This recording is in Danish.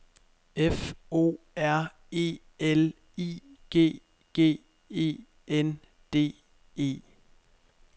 F O R E L I G G E N D E